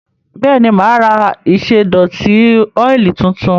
Bẹ́ẹ̀ni, mà á ra ìṣẹ́dọ̀tí ọ́ìlì tuntun?